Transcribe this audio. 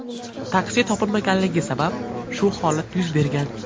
Taksi topilmaganligi sabab shu holat yuz bergan.